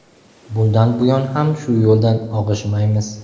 Bundan buyon ham shu yo‘ldan og‘ishmaymiz.